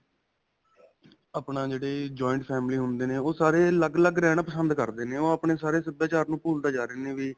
ਆਪਣਾ, ਜਿਹੜੇ joint family ਹੁੰਦੇ ਨੇ, ਓਹ ਸਾਰੇ ਅਲਗ-ਅਲਗ ਰਹਿਣਾ ਪਸੰਦ ਕਰਦੇ ਨੇ ਓਹ ਆਪਣੇ ਸਾਰੇ ਸਭਿਆਚਾਰ ਨੂੰ ਭੁਲਦੇ ਜਾ ਰਹੇ ਨੇ ਵੀ.